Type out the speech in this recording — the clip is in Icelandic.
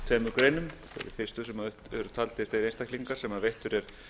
tveimur greinum í fyrstu grein eru taldir upp þeir einstaklingar sem veittur er